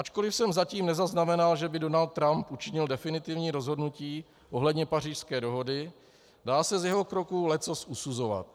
Ačkoliv jsem zatím nezaznamenal, že by Donald Trump učinil definitivní rozhodnutí ohledně Pařížské dohody, dá se z jeho kroků leccos usuzovat.